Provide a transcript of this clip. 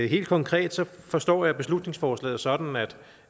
helt konkret forstår jeg beslutningsforslaget sådan